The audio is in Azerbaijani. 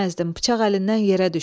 Bıçaq əlindən yerə düşdü.